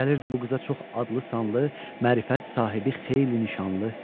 Gəlirdi bu qıza çox adlı-sanlı, mərifət sahibi xeyli nişanlı.